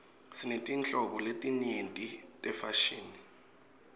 sinetinhlobo letinyenti tefashini